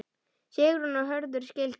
Sigrún og Hörður skildu.